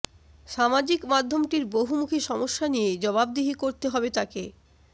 সামাজিক মাধ্যমটির বহুমুখী সমস্যা নিয়ে জবাবদিহি করতে হবে তাকে